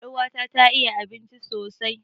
Er'uwa ta ta iya abinci sosai.